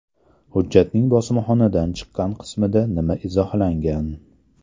Hujjatning bosmaxonadan chiqqan qismida nima izohlangan?